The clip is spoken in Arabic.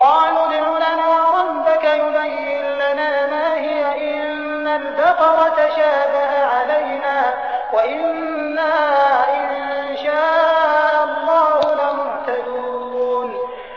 قَالُوا ادْعُ لَنَا رَبَّكَ يُبَيِّن لَّنَا مَا هِيَ إِنَّ الْبَقَرَ تَشَابَهَ عَلَيْنَا وَإِنَّا إِن شَاءَ اللَّهُ لَمُهْتَدُونَ